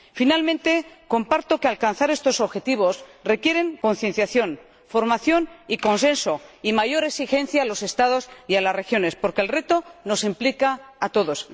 Finalmente, comparto que alcanzar estos objetivos requiere concienciación, formación y consenso y mayor exigencia a los Estados y a las regiones, porque el reto nos implica a todos.